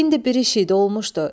İndi bir iş idi olmuşdu.